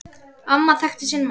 Amma þekkti sinn mann.